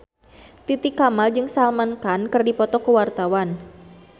Titi Kamal jeung Salman Khan keur dipoto ku wartawan